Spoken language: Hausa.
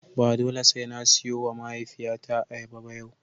Ba dole sai na siyowa mahaifiyata ayyaba ba yau.